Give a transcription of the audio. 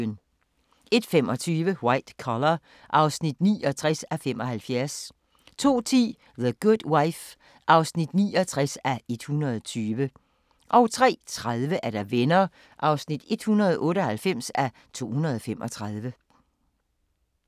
01:25: White Collar (69:75) 02:10: The Good Wife (69:120) 03:30: Venner (198:235)